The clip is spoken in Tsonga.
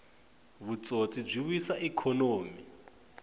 vutsotsi byi wisa ikhonomi